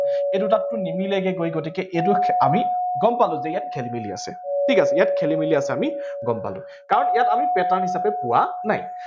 এই দুটাতটো নিমিলেগে গৈ। গতিকে আমি গম পালো যে ইয়াত খেলি মেলি আছে, ঠিক আছে। ইয়াত খেলি মেলি আছে, আমি গম পালো কাৰণ আমি pattern হিছাপে পোৱা নাই